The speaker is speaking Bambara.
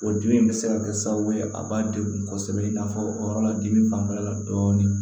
O dimi in bɛ se ka kɛ sababu ye a b'a degun kosɛbɛ i n'a fɔ o yɔrɔ la dimi fanfɛla la dɔɔni